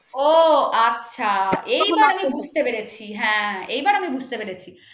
ও আছো এবার আমি বুঝতে পেরেছি হ্যাঁ এবার আমি বুঝতে পেরেছি